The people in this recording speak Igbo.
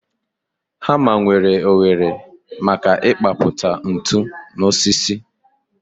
Hama nwere oghere maka ịkpapụta ntu n'osisi